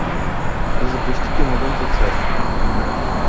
запусти киноленту царь